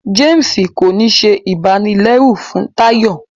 James kò ní ṣe ibanilẹru fún Tayo